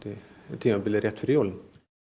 tímabili rétt fyrir jólin